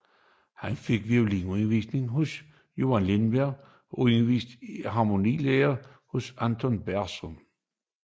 Han fik violinundervisning hos Johan Lindberg og undervisning i harmonilære hos Aron Bergenson